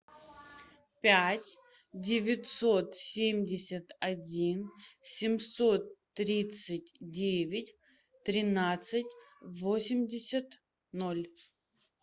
пять девятьсот семьдесят один семьсот тридцать девять тринадцать восемьдесят ноль